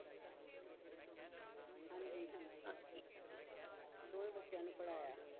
ਹਾਂਜੀ ਹਾਂਜੀ ਦੋਵੇਂ ਬੱਚਿਆਂ ਨੂੰ ਪੜ੍ਹਾਇਆ।